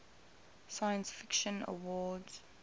science fiction awards